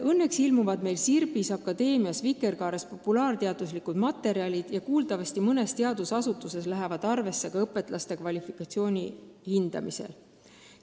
Õnneks ilmuvad meil Sirbis, Akadeemias ja Vikerkaares populaarteaduslikud artiklid, mis kuuldavasti mõnes teadusasutuses lähevad arvesse ka õpetlaste kvalifikatsiooni hindamisel.